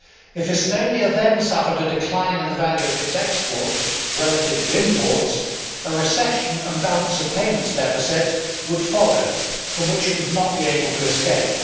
If Estonia then suffered a decline in the value of its exports relative to imports, a recession and balance of payments deficit would follow from which it would not be able to escape.